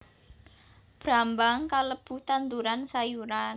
Brambang kalebu tanduran sayuran